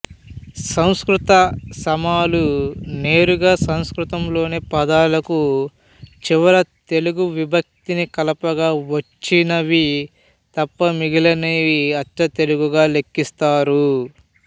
సంస్కృత సమాలునేరుగా సంస్కృతంలోని పదాలకు చివర తెలుగు విభక్తిని కలపగా వచ్చినవి తప్ప మిగిలినవి అచ్చతెలుగుగా లెక్కిస్తారు